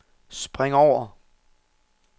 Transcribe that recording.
spring over